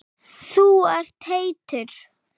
Þú ert heitur.